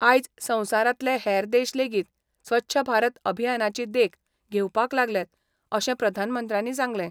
आयज संवसारांतले हेर देश लेगीत स्वच्छ भारत अभियानाची देख घेवपाक लागल्यात अशें प्रधामंत्र्यांनी सांगलें.